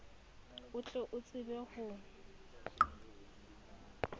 o tle o tsebe ho